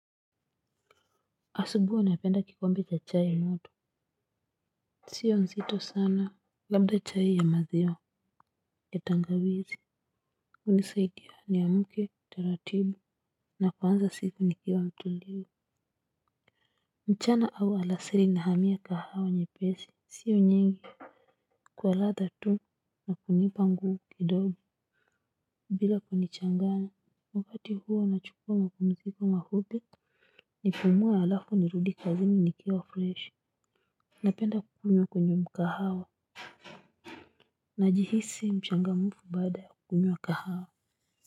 Asubui napenda kikombe cha chai moto sio nzito sana labda chai ya maziwa ya tangawizi unisaidia ni amuke taratibu na kwanza siku nikiwa mtulivu mchana au alasiri nahamia kahawa nyepesi sio nyingi kwa ladha tu na kunipa nguvu kidogo bila kunichanganya wakati huo nachukua mapumziko mafupi nipumue alafu nirudi kazini nikiwa freshi napenda kukunywa kwenye mkahawa. Najihisi mchangamfu baada kukunywa kahawa.